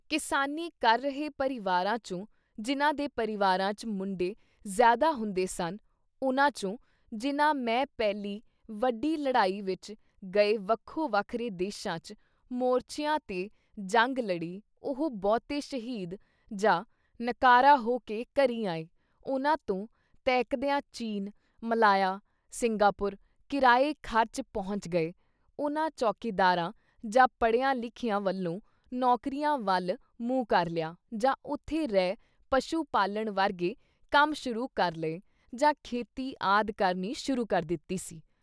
ਕਿਸਾਨੀ ਕਰ ਰਹੇ ਪਰਿਵਾਰਾਂ ਚੋਂ ਜਿਨ੍ਹਾਂ ਦੇ ਪਰਿਵਾਰਾਂ ‘ਚ ਮੁੰਡੇ ਜ਼ਿਆਦਾ ਹੁੰਦੇ ਸਨ ਉਨ੍ਹਾਂ ਚੋਂ ਜਿਨ੍ਹਾਂ ਮੇ ਪਹਿਲੀ ਵੱਡੀ ਲੜਾਈ ਵਿੱਚ ਗਏ ਵੱਖੋ-ਵੱਖਰੇ ਦੇਸ਼ਾਂ ‘ਚ ਮੋਰਚਿਆਂ ਤੇ ਜੰਗ ਲੜੀ ਉਹ ਬਹੁਤੇ ਸ਼ਹੀਦ ਜਾਂ ਨਿਕਾਰਾ ਹੋ ਕੇ ਘਰੀਂ ਆਏ ਉਨ੍ਹਾਂ ਤੋਂ ਤਹਿਕਦਿਆਂ ਚੀਨ, ਮਲਾਇਆ, ਸਿੰਘਾਪੁਰ ਕਰਾਏ ਖਰਚ ਪਹੁੰਚ ਗਏ ਉਨ੍ਹਾਂ ਚੌਕੀਦਾਰਾਂ ਜਾਂ ਪੜ੍ਹਿਆਂ ਲਿਖਿਆਂ ਵੱਲੋਂ ਨੌਕਰੀਆਂ ਵੱਲ ਮੂੰਹ ਕਰ ਲਿਆ, ਜਾਂ ਉਥੇ ਰਹਿ ਪਸ਼ੂ-ਪਾਲਣ ਵਰਗੇ ਕੰਮ ਸ਼ੁਰੂ ਕਰ ਲਏ ਜਾਂ ਖੇਤੀ ਆਦਿ ਕਰਨੀ ਸ਼ੁਰੂ ਕਰ ਦਿੱਤੀ ਸੀ।